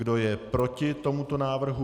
Kdo je proti tomuto návrhu?